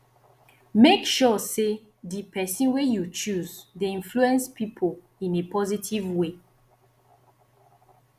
make sure say di persin wey you choose de influence pipo in a positive way